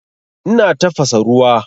Ina tafasa ruwa.